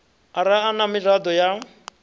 ara a na miraḓo ya